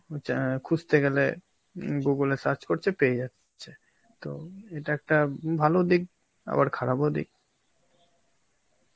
হচ্ছ~ অ্যাঁ খুঁজতে গেলে হম google এ search করছে, পেয়ে, তো এটা একটা উম ভালো দিক আবার খারাপও দিক.